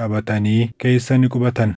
qabatanii keessa ni qubatan.